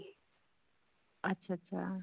ਅੱਛਾ ਅੱਛਾ